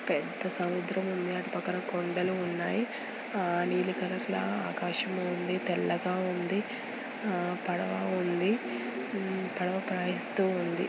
పెద్ద సముద్రం ఉంది అటు పక్క కొండలు ఉన్నాయి ఆ నీలి కలర్ లా ఆకాశం ఉంది తెల్లగా ఉంది పడవ ఉంది పడవ ప్రయాణిస్తూ ఉంది.